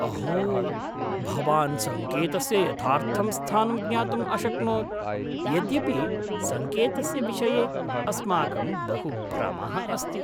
अहो! भवान् सङ्केतस्य यथार्थं स्थानं ज्ञातुम् अशक्नोत्, यद्यपि सङ्केतस्य विषये अस्माकं बहुभ्रमः अस्ति।